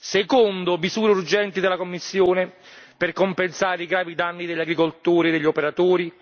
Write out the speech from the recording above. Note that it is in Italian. Secondo misure urgenti della Commissione per compensare i gravi danni subiti dagli agricoltori e dagli operatori.